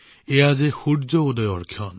এতিয়া সূৰ্য উদয হৈছে